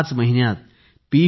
याच महिन्यात पी